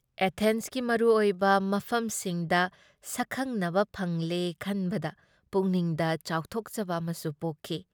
ꯑꯦꯊꯦꯟꯁꯀꯤ ꯃꯔꯨ ꯑꯣꯏꯕ ꯃꯐꯝꯁꯤꯡꯗ ꯁꯛꯈꯪꯅꯕ ꯐꯪꯂꯦ ꯈꯟꯕꯗ ꯄꯨꯛꯅꯤꯡꯗ ꯆꯥꯎꯊꯣꯛꯆꯕ ꯑꯃꯁꯨ ꯄꯣꯛꯈꯤ ꯫